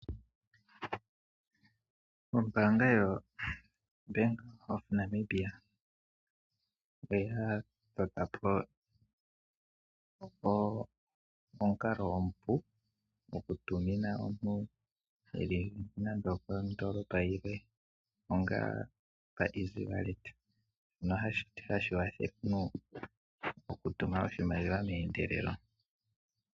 Ombanga yo Bank of Namibia oya totopo omunkalo omupu ngokutumina omuntu oshimaliwa eli nande Kondolopa yimwe onga oka easy wallet nohashikala oshipu okutuma oshimaliwa mendelelo.